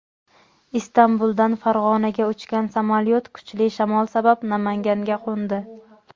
Istanbuldan Farg‘onaga uchgan samolyot kuchli shamol sabab Namanganga qo‘ndi.